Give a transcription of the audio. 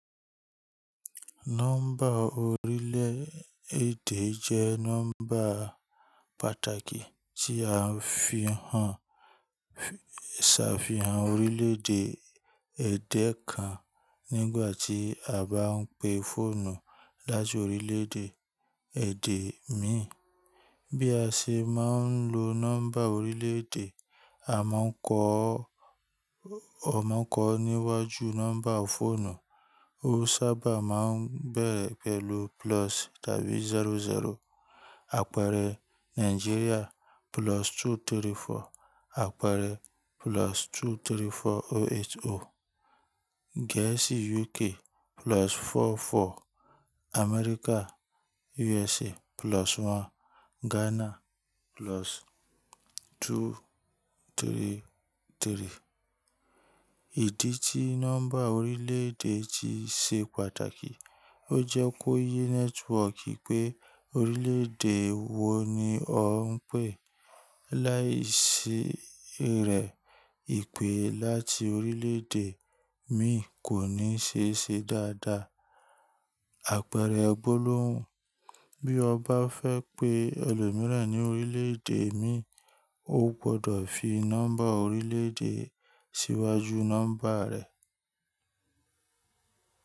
Nọ́mbà orílẹ̀-èdè jẹ́ nọ́mbà pàtàkì tí a fi hàn ṣàfihàn orílẹ̀-èdè ẹ̀dẹ̀ kan nígbàtí a bá ń pe fóònù láti orílẹ̀-èdè èdè mi. Bí a ṣe máa ń lo nọ́mbà orílẹ̀-èdè, a mọ̀ n kọ́ sí wájú nọ́mbà fọ́ònù. Ó sábà máa ń bẹ̀rẹ̀ pẹ̀lú plus tàbí zero zero. Àpẹẹrẹ Nàìjíríà plus two three four. Àpẹẹrẹ plus two three four oh eight oh. Gẹ̀ẹ́sì UK plus four four. Amẹ́ríkà USA plus one. Ghana plus two three three. Ìdí tí nọ́mbà orílẹ̀-èdè fi ṣe pàtàkì, ó jẹ́ kó yé nẹ́tíwọọ̀kì pé orílẹ̀-èdè wo ni ọ́n pè. Láìsí rẹ̀ ìpè láti orílẹ̀-èdè mi kò ní ṣe ṣe dáadáa. Àpẹẹrẹ gbólóhùn, bí o bá fẹ́ pe ẹlòmíràn ní orílẹ̀-èdè mi, o gbọdọ̀ fi nọ́mbà orílẹ̀-èdè síwájú nọ́mbà rẹ̀.